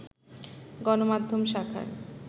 গণমাধ্যম শাখার